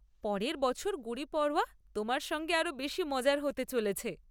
পরের বছর গুড়ি পাড়ওয়া তোমার সঙ্গে আরও বেশি মজার হতে চলেছে।